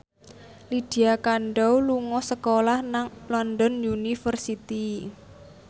Lydia Kandou lagi sekolah nang London University